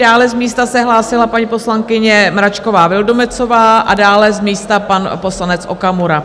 Dále z místa se hlásila paní poslankyně Mračková Vildumetzová a dále z místa pan poslanec Okamura.